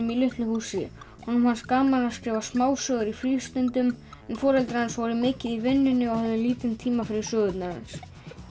í litlu húsi honum fannst gaman að skrifa smásögur í frístundum en foreldrar hans voru mikið í vinnunni og höfðu lítinn tíma fyrir sögurnar hans